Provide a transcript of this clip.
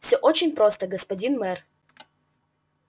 всё очень просто господин мэр